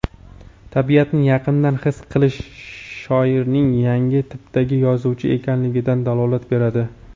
Tabiatni yaqindan his qilish shoirning yangi tipdagi yozuvchi ekanligidan dalolat beradi.